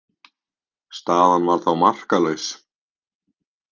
Staðan var þá markalaus.